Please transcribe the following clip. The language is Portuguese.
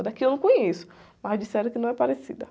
A daqui eu não conheço, mas disseram que não é parecida.